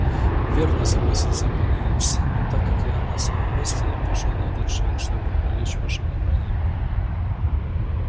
верно согласился пониетс но так как я на своём месте я пошёл на этот шаг чтобы привлечь ваше внимание